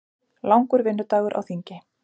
Langur vinnudagur á þingi